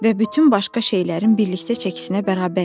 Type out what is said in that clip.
Və bütün başqa şeylərin birlikdə çəkisinə bərabər idi.